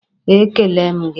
E kelele m gị.